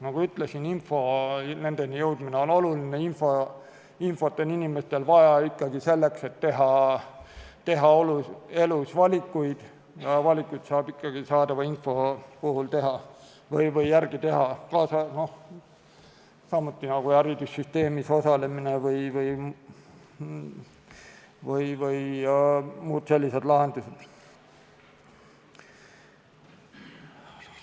Nagu ütlesin, info nendeni jõudmine on oluline, infot on inimestel vaja selleks, et teha elus valikuid, valikuid saab ikkagi saadava info põhjal teha, samuti on oluline haridussüsteemis osalemine või muud sellised lahendused.